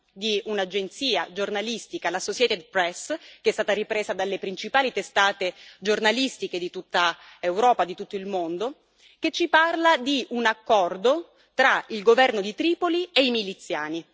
di un'agenzia giornalistica, la Associated Press che è stata ripresa dalle principali testate giornalistiche di tutta Europa e di tutto il mondo, che ci parla di un accordo tra il governo di Tripoli e i miliziani.